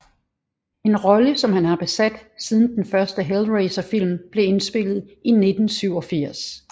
En rolle som han har besat siden den første Hellraiser film blev indspillet i 1987